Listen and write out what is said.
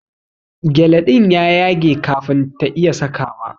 gyale din ya yage kafin ta iya sakawa.